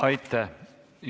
Aitäh!